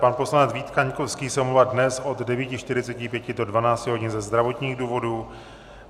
Pan poslanec Vít Kaňkovský se omlouvá dnes od 9.45 do 12 hodin ze zdravotních důvodů.